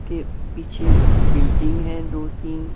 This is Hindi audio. के पीछे बिल्डिंग है दो-तीन।